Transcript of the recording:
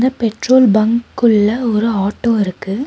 Petrol பங்க்குள்ள ஒரு auto இருக்கு.